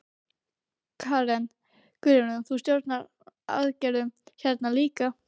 Karen: Guðrún, þú stjórnaðir aðgerðum hérna líka?